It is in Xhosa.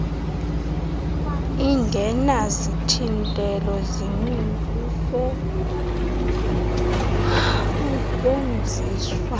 ingenazithintelo zininzi usetyuenziswa